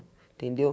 Entendeu?